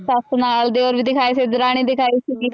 ਸੱਸ ਨਾਲ ਦਿਓਰ ਵੀ ਦਿਖਾਏ ਸੀ ਦਰਾਣੀ ਦਿਖਾਈ ਸੀਗੀ।